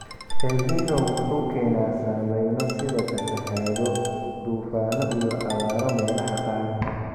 Elnino wuxuu keenaa saameyno sida fatahaado, duufaano iyo abaaro meelaha qaar.